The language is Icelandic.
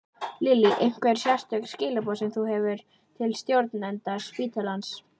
Lillý: Einhver sérstök skilaboð sem þú hefur til stjórnenda spítalans?